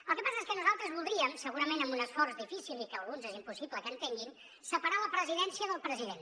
el que passa és que nosaltres voldríem segurament amb un esforç difícil i que alguns és impossible que entenguin separar la presidència del president